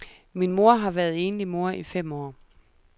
Min mor har været enlig mor i fem år.